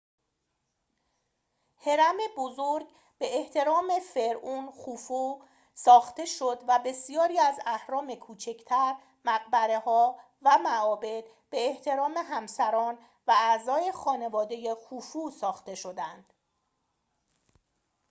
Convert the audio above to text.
هرم بزرگ به احترام فرعون خوفو ساخته شد و بسیاری از اهرام کوچک‌تر مقبره‌ها و معابد به احترام همسران و اعضای خانواده خوفو ساخته شدند